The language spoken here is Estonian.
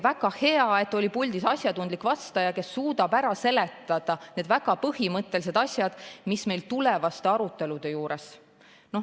Väga hea, et puldis oli asjatundlik vastaja, kes suutis ära seletada väga põhimõttelised asjad, mis on meil ka tulevaste arutelude juures.